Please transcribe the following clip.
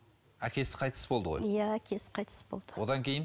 әкесі қайтыс болды ғой иә әкесі қайтыс болды одан кейін